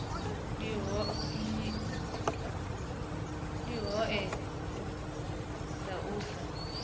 ndi hoea dza u sa